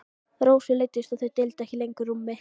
Rósu leiddist að þau deildu ekki lengur rúmi.